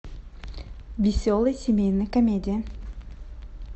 веселая семейная комедия